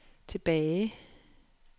tilbage